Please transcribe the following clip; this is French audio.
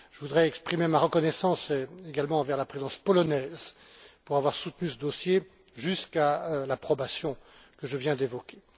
Je voudrais exprimer ma reconnaissance également envers la Présidence polonaise pour avoir soutenu ce dossier jusqu'à l'approbation que je viens d'évoquer.